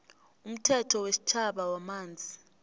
umthetho wesitjhaba wamanzi